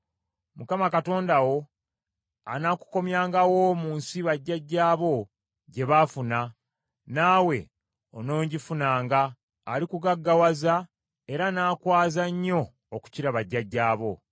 Mukama Katonda wo anaakukomyangawo mu nsi bajjajjaabo gye baafuna, naawe onoogifunanga. Alikugaggawaza era n’akwaza nnyo okukira bajjajjaabo.